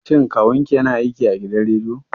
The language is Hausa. Shin Kawun ki ya na aiki a gidan rediyo?